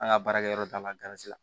An ka baarakɛyɔrɔ ta la